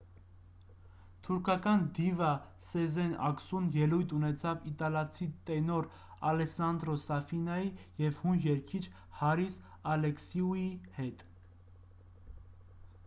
թուրքական դիվա սեզեն ակսուն ելույթ ունեցավ իտալացի տենոր ալեսսանդրո սաֆինայի և հույն երգիչ հարիս ալեքսիուի հետ